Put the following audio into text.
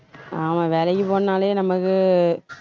ஆமா வேலைக்குப் போகணும்னாலே நமக்கு